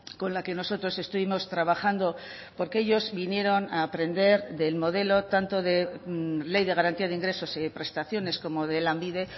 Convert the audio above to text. con la que nosotros estuvimos trabajando porque ellos vinieron a aprender del modelo tanto de ley de garantía de ingresos y prestaciones como de lanbide